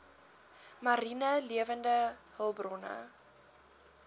mariene lewende hulpbronne